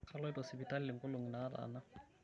Kaloito sipitali nkolongi naatana.